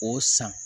O san